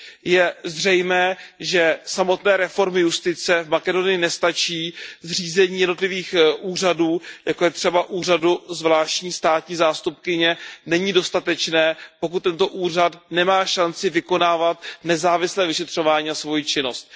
Je zřejmé, že samotné reformy justice v Makedonii nestačí. Zřízení jednotlivých úřadů, jako je třeba Úřad zvláštní státní zástupkyně, není dostatečné, pokud tento úřad nemá šanci vykonávat nezávislé vyšetřování a svoji činnost.